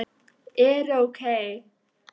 eru OK!